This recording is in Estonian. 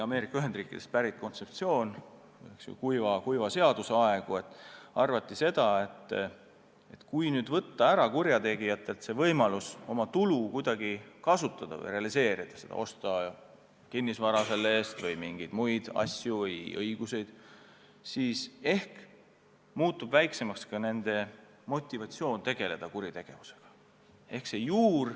Ameerika Ühendriikidest on kuiva seaduse ajast pärit kontseptsioon, et kui võtta kurjategijatelt võimalus oma tulu kuidagi kasutada, osta selle raha eest kinnisvara või mingeid muid asju või õigusi, siis ehk muutub väiksemaks ka nende motivatsioon tegeleda kuritegevusega.